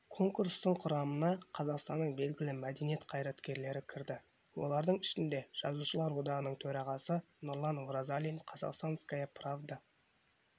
конкурстың құрамына қазақстанның белгілі мәдениет қайраткерлері кірді олардың ішінде жазушылар одағының төрағасы нұрлан оразалин казахстанская правда